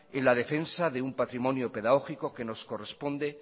en la defensa de un patrimonio pedagógico que nos corresponde